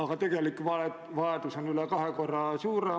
Ma küsingi, mis on valitsuse sellekohased eesmärgid ja mõtted.